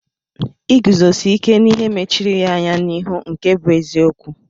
Iguzosi ike n'ihe mechiri ya anya n'ịhụ nke bụ eziokwu.